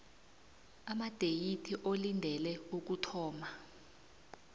amadeyithi olindele ukuthoma